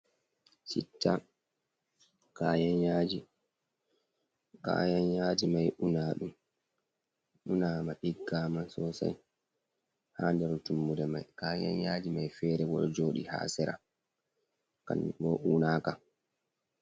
Citta kayan yaaji, kayan yaaji may unaaɗum unaama ɗiggaama sosay, haa nder tummode may kayan yaaji may feere bo, ɗo jooɗi haa sera kanjum bo unaaka.